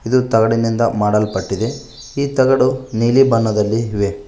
ಇದು ತಗಡಿನಿಂದ ಮಾಡಲ್ಪಟ್ಟಿದೆ ಈ ತಗಡು ನೀಲಿ ಬಣ್ಣದಲ್ಲಿ ಇವೆ.